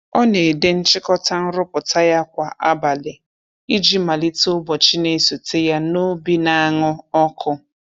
Ọ na-ede nchịkọta nrụpụta ya kwa abalị iji malite ụbọchị na-esote ya n'obi na-aṅụ ọkụ.